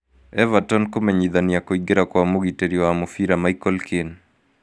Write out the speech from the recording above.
Everton kũmenyithania kũingĩra kwa mũgitĩri wa mũbira Michael Keane